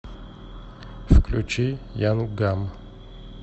включи янг гам